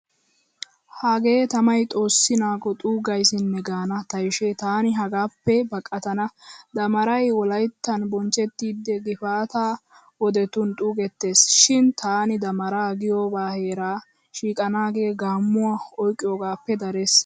Hagee tamay xoossi naago xuugaysinne gaana tayshe taani hagaappe baqatana. Dammaray wolayttan bonchchettidi gifaataa wodetun xuugetteesi shin taani daammara giyooba heeraa shiiqanaagee gaammuwaa oyqqiyogaappe darees.